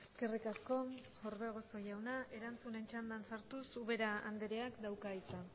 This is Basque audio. eskerrik asko orbegozo jauna erantzunen txandan sartuz ubera andreak dauka hitza